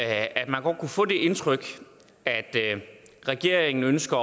at man godt kunne få det indtryk at regeringen ønsker